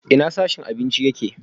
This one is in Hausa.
Ina sashen abinci yake?